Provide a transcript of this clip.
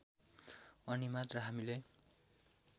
अनी मात्र हामीले